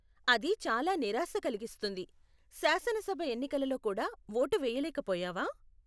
అది చాలా నిరాశ కలిగిస్తుంది. శాసనసభ ఎన్నికలలో కూడా వోటు వేయలేక పోయావా?